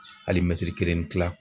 Hali mɛtiri kelen ni kila.